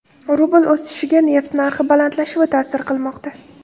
Rubl o‘sishiga neft narxi balandlashuvi ta’sir qilmoqda.